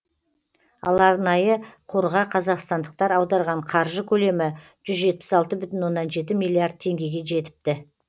ал арнайы қорға қазақстандықтар аударған қаржы көлемі жүз жетпіс алты бүтін оннан жеті миллиард теңгеге жетіпті